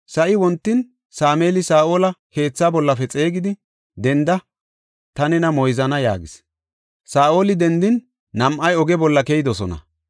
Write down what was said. Sa7i wontin, Sameeli Saa7ola keetha bollafe xeegidi, “Denda; ta nena moyzana” yaagis. Saa7oli dendin, nam7ay oge bolla keyidosona.